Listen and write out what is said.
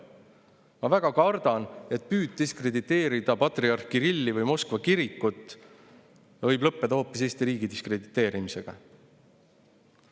Ma väga kardan, et püüd diskrediteerida patriarh Kirilli või Moskva kirikut võib lõppeda hoopis Eesti riigi diskrediteerimisega.